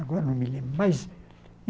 Agora não me lembro mais.